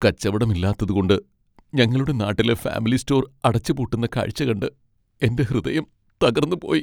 കച്ചവടം ഇല്ലാത്തതുകൊണ്ട് ഞങ്ങളുടെ നാട്ടിലെ ഫാമിലി സ്റ്റോർ അടച്ചുപൂട്ടുന്ന കാഴ്ച്ച കണ്ട് എൻ്റെ ഹൃദയം തകർന്നുപോയി.